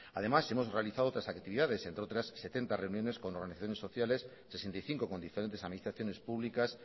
además hemos realizado otras actividades entre otras setenta reuniones con organizaciones sociales sesenta y cinco con diferentes administraciones públicas